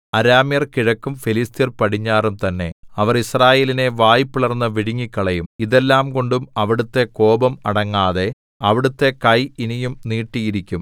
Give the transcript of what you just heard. അരാമ്യർ കിഴക്കും ഫെലിസ്ത്യർ പടിഞ്ഞാറും തന്നെ അവർ യിസ്രായേലിനെ വായ് പിളർന്നു വിഴുങ്ങിക്കളയും ഇതെല്ലാംകൊണ്ടും അവിടുത്തെ കോപം അടങ്ങാതെ അവിടുത്തെ കൈ ഇനിയും നീട്ടിയിരിക്കും